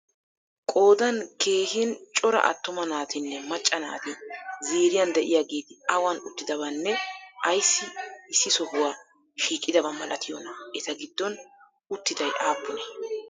Qoodan keehin cora attuma naatinne macca naati ziiriyan de'iyageeti awan uttidabanne ayssi issi sohuwa shiiqidaba malatiyonaa? Eta giddon uttiday aappunee?